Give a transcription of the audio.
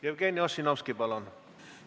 Jevgeni Ossinovski, palun!